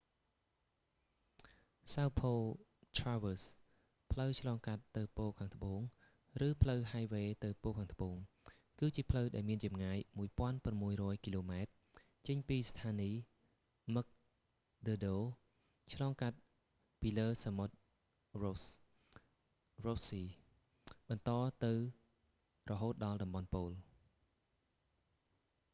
south pole traverse ផ្លូវឆ្លងកាត់ទៅប៉ូលខាងត្បូង ឬផ្លូវហាយវ៉េទៅប៉ូលខាងត្បូង គឺជាផ្លូវដែលមានចម្ងាយ 1600 គីឡូម៉ែត្រ ចេញពីស្ថានីយ mcmurdo មឹកឌើរដូ ឆ្លងកាត់ពីលើសមុទ្រ ross sea សមុទ្រ រ៉ូស បន្តទៅរហូតដល់តំបន់ប៉ូល